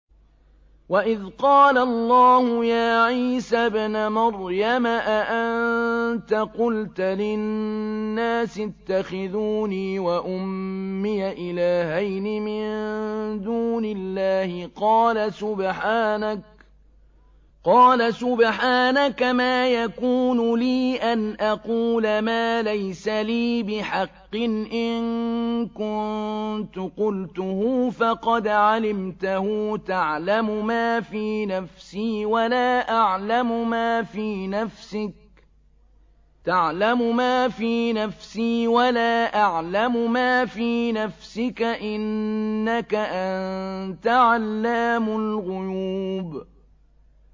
وَإِذْ قَالَ اللَّهُ يَا عِيسَى ابْنَ مَرْيَمَ أَأَنتَ قُلْتَ لِلنَّاسِ اتَّخِذُونِي وَأُمِّيَ إِلَٰهَيْنِ مِن دُونِ اللَّهِ ۖ قَالَ سُبْحَانَكَ مَا يَكُونُ لِي أَنْ أَقُولَ مَا لَيْسَ لِي بِحَقٍّ ۚ إِن كُنتُ قُلْتُهُ فَقَدْ عَلِمْتَهُ ۚ تَعْلَمُ مَا فِي نَفْسِي وَلَا أَعْلَمُ مَا فِي نَفْسِكَ ۚ إِنَّكَ أَنتَ عَلَّامُ الْغُيُوبِ